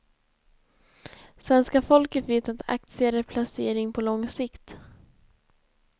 Svenska folket vet att aktier är placering på lång sikt.